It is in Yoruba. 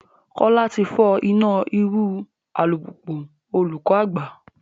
Kola ti fọ ina iru u alupupu olukọ agba